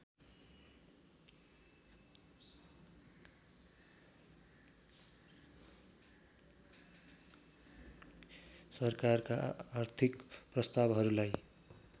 सरकारका आर्थिक प्रस्तावहरूलाई